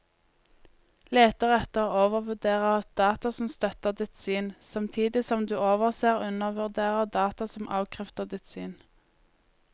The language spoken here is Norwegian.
Leter etter og overvurderer data som støtter ditt syn, samtidig som du overser og undervurderer data som avkrefter ditt syn.